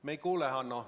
Me ei kuule.